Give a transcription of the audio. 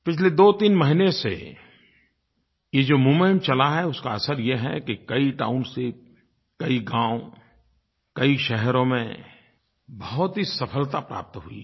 पिछले दोतीन महीने से ये जो मूवमेंट चला है उसका असर ये है कि कई टाउनशिप कई गाँव कई शहरों में बहुत ही सफलता प्राप्त हुई है